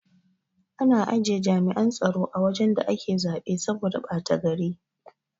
Ana ajiye jami'an tsaro a wajan da ake zaɓe saboda bata gari